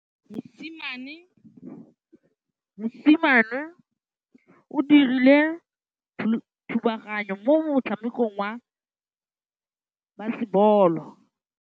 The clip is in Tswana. Mosimane o dirile thubaganyô mo motshamekong wa basebôlô.